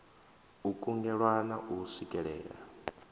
u kungela na u swikelea